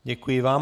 Děkuji vám.